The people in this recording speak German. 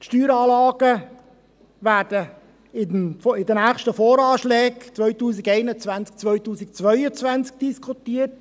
Die Steueranlagen werden in den nächsten VA 2021 und 2022 diskutiert.